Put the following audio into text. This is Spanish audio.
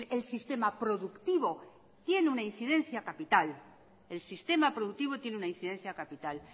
el sistema productivo tiene una incidencia capital el sistema productivo tiene una incidencia capital